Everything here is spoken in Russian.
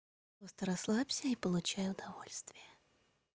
просто расслабься и получай удовольствие